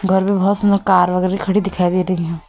घर में बहुत सुंदर कार वगैरह खड़ी दिखाई दे रही हैं।